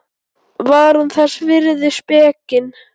Var hún þess virði spekin?